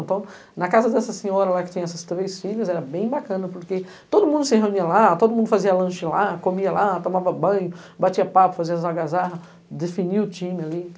Então, na casa dessa senhora lá, que tem essas três filhas, era bem bacana, porque todo mundo se reunia lá, todo mundo fazia lanche lá, comia lá, tomava banho, batia papo, fazia algazarra, definia o time ali.